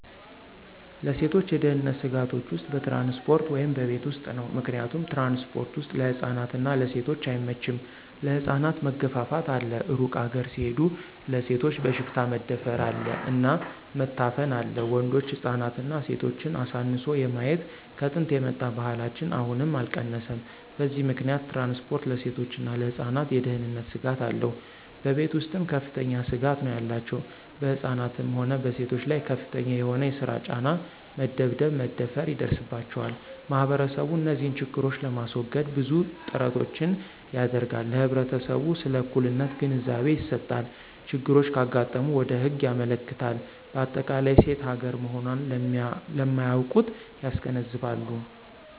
ለሴቶች የደህንነት ስጋቶች ውስጥ በትራንስፖርት ወይም በቤት ውስጥ ነው። ምክንያቱም ትራንስፖርት ወስጥ ለህፃናት እና ለሴቶች አይመቸም ለህፃናት መገፍፍት አለ እሩቅ ሀገር ሲሆድ ለሴቶች በሽፍታ መደፍር አለ እና መታፈን አለ ወንዶች ህፃናትና ሴቶችን አሳንሶ የማየት ከጥንት የመጣ ባህላችን አሁንም አልቀነሰም በዚህ ምከንያት ትራንስፖርት ለሴቶችና ለህፃናት የደህነንት ስጋት አለው። በቤተ ውስጥም ከፍተኛ ስጋት ነው ያላቸው በህፃናትም ሆነ በሴቶች ላይ ከፍተኛ የሆነ የሰራ ጫና፣ መደብደብ፣ መደፈራ ይደርስባቸዋል። ማህበረሰቡ እንዚህን ችግሮች ለማሰወገድ ብዙ ጥራቶችን ያደረጋል ለህብረተሰቡ ስለ እኩልነት ግንዛቤ ይሰጣል፣ ችግሮች ካጋጠሙ ወደ ህግ ያመለክታል በአጠቃላይ ሴት ሀገራ መሆኖን ለማያውቁት ያስገነዝባሉ።